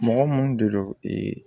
Mɔgɔ munnu de don